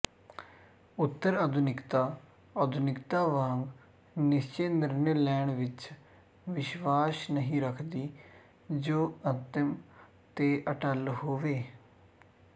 ਉਤਰਆਧੁਨਿਕਤਾ ਆਧੁਨਿਕਤਾ ਵਾਂਗ ਨਿਸ਼ਚਿਤ ਨਿਰਣੇ ਲੈਣ ਵਿੱਚ ਵਿਸ਼ਵਾਸ ਨਹੀਂ ਰੱਖਦੀ ਜੋ ਅੰਤਮ ਤੇ ਅਟੱਲ ਹੋਵੇ